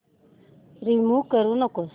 remove करू नको